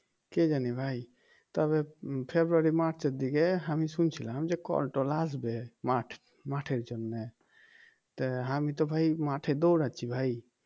কে জানি ভাই তবে ফেব্রুয়ারি মার্চে দিকে আমি শুনছিলাম যে কল টল আসবে মাঠ মাঠের জন্যে তা আমি তো ভাই মাঠে দৌড়াচ্ছি ভাই